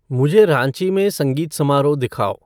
मुझे रांची में संगीत समारोह दिखाओ